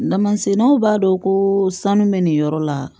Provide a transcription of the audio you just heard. Namasennaw b'a dɔn ko sanu bɛ nin yɔrɔ la